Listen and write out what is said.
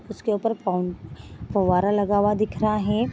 उसके ऊपर फाउन फव्वारा लगा हुआ दिख रहा है।